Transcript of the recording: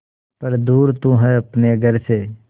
पर दूर तू है अपने घर से